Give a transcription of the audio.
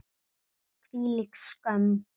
Hvílík skömm!